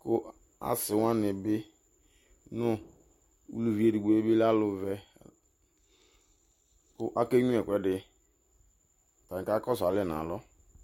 ku asiwani bɩ nu ʊlʊvɩ edɩgbo lɛ alʊvɛ ake nyiu ɛkʊɛdɩ kakɔsu alɛ nu alɔ